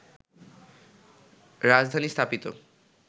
রাজধানী স্থাপিত